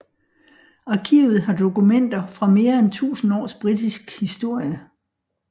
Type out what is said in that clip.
Arkivet har dokumenter fra mere end tusind års britisk historie